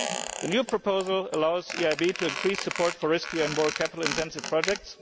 The new proposal allows the EIB to increase support for risky and more capital intensive projects.